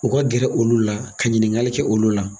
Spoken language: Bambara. U ka gɛrɛ olu la ka ɲininkali kɛ olu la.